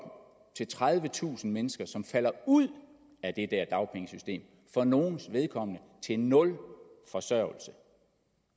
til tredivetusind mennesker som falder ud af det der dagpengesystem for nogles vedkommende til nul forsørgelse